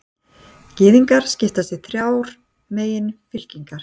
gyðingar skipast í þrjár meginfylkingar